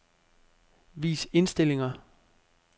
Vis indstillinger.